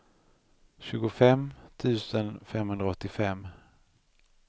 tjugofem tusen femhundraåttiofem